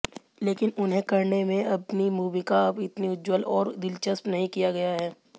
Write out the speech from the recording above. लेकिन उन्हें करने में अपनी भूमिका इतनी उज्ज्वल और दिलचस्प नहीं किया गया है